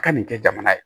A ka nin kɛ jamana ye